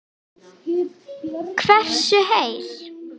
Hversu heil